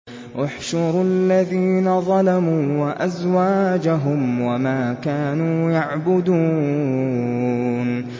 ۞ احْشُرُوا الَّذِينَ ظَلَمُوا وَأَزْوَاجَهُمْ وَمَا كَانُوا يَعْبُدُونَ